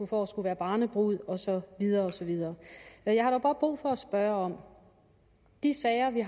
for at skulle være barnebrud og så videre og så videre men jeg har dog brug for at spørge om de sager vi